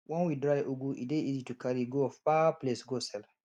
when we dry ugu e dey easy to carry go far place go sell